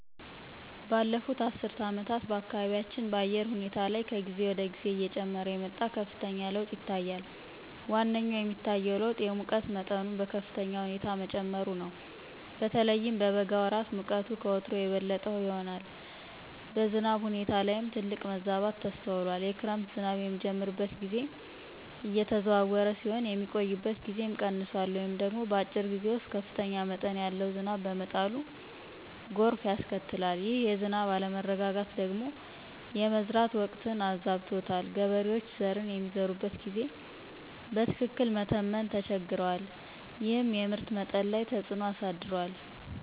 ባለፉት አስርት ዓመታት በአካባቢያችን በአየር ሁኔታ ላይ ከጊዜ ወደ ጊዜ እየጨመረ የመጣ ከፍተኛ ለውጥ ይታያል። ዋነኛው የሚታየው ለውጥ የሙቀት መጠኑ በከፍተኛ ሁኔታ መጨመሩ ነው። በተለይም በበጋ ወራት ሙቀቱ ከወትሮው የበለጠ ይሆናል። በዝናብ ሁኔታ ላይም ትልቅ መዛባት ተስተውሏል። የክረምት ዝናብ የሚጀምርበት ጊዜ እየተዘዋወረ ሲሆን፣ የሚቆይበት ጊዜም ቀንሷል ወይም ደግሞ በአጭር ጊዜ ውስጥ ከፍተኛ መጠን ያለው ዝናብ በመጣሉ ጎርፍ ያስከትላል። ይህ የዝናብ አለመረጋጋት ደግሞ የመዝራት ወቅትን አዛብቶታል። ገበሬዎች ዘርን የሚዘሩበትን ጊዜ በትክክል መተመን ተቸግረዋል፤ ይህም የምርት መጠን ላይ ተፅዕኖ አሳድሯል።